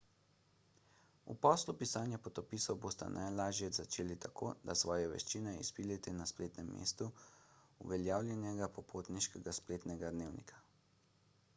v poslu pisanja potopisov boste najlažje začeli tako da svoje veščine izpilite na spletnem mestu uveljavljenega popotniškega spletnega dnevnika